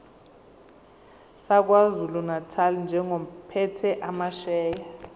sakwazulunatali njengophethe amasheya